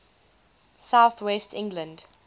south west england